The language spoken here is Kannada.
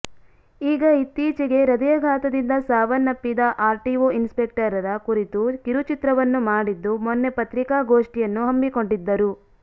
ಈಗ ಇತ್ತೀಚೆಗೆ ಹೃದಯಾಘಾತದಿಂದ ಸಾವನ್ನಪ್ಪಿದ್ದ ಆರ್ಟಿಓ ಇನ್ಸ್ ಪೆಕ್ಟರ್ ರ ಕುರಿತು ಕಿರುಚಿತ್ರವನ್ನು ಮಾಡಿದ್ದು ಮೊನ್ನೆ ಪತ್ರಿಕಾಗೋಷ್ಠಿಯನ್ನು ಹಮ್ಮಿಕೊಂಡಿದ್ದರು